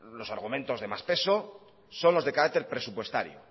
los argumentos de más peso son los de carácter presupuestario